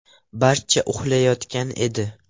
Barcha uxlayotgan edi.